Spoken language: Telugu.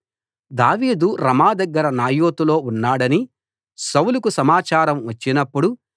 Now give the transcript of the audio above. దావీదు రమా దగ్గర నాయోతులో ఉన్నాడని సౌలుకు సమాచారం వచ్చినప్పుడు